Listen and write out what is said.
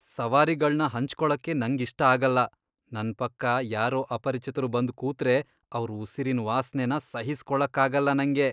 ಸವಾರಿಗಳ್ನ ಹಂಚ್ಕೊಳಕ್ಕೆ ನಂಗಿಷ್ಟ ಆಗಲ್ಲ. ನನ್ ಪಕ್ಕ ಯಾರೋ ಅಪರಿಚಿತ್ರು ಬಂದ್ ಕೂತ್ರೆ ಅವ್ರ್ ಉಸಿರಿನ್ ವಾಸ್ನೆನ ಸಹಿಸ್ಕೊಳಕ್ಕಾಗಲ್ಲ ನಂಗೆ.